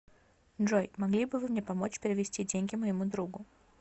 джой могли бы вы мне помочь перевести деньги моему другу